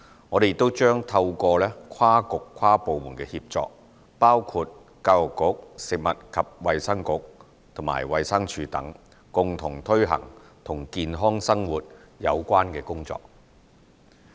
我們亦將透過跨局跨部門協作，包括教育局、食物及衞生局和衞生署等，共同推行與健康生活有關的工作。